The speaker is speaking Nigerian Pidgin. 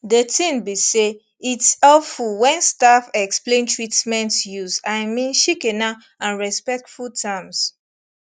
de tin be say its helpful wen staff explain treatments use i mean shikena and respectful terms